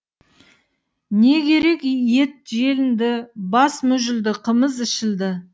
не керек ет желінді бас мүжілді қымыз ішілді